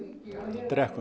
drekkum